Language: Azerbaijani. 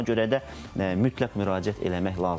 Ona görə də mütləq müraciət eləmək lazımdır.